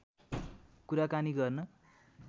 कुराकानी गर्न